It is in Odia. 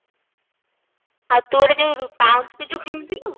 ଆଉ ତୁ ଗୋଟେ ଯାଉ ରୁ ପାଉଁଜି ଗୋଟେ ପିନ୍ଧିନୁ